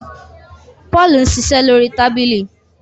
Paul ń ṣiṣẹ lórí tábìlì